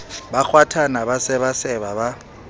ba kgwathana ba sebaseba ba